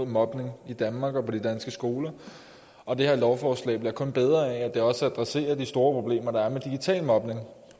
mobning i danmark og på de danske skoler og det her lovforslag bliver kun bedre af at det også adresserer de store problemer der er med digital mobning